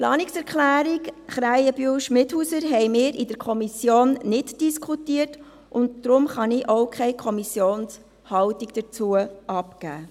Die Planungserklärung Krähenbühl/Schmidhauser haben wir in der Kommission nicht diskutiert, und deshalb kann ich auch keine Kommissionshaltung dazu bekannt geben.